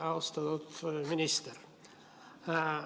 Austatud minister!